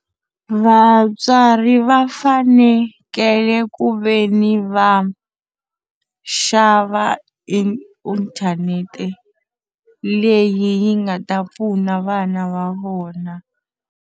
Vatswari va fanekele ku ve ni va xava i inthanete leyi yi nga ta pfuna vana va vona.